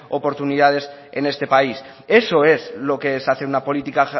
oportunidades en este país eso es lo que es hacer una política